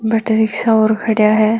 बठ रिख्सा और खड़ा है।